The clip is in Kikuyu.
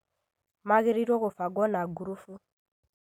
Magĩrĩirwo nĩ gũbangwo na ngurubu